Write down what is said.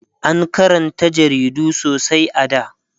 an Karanta jaridu sosai a da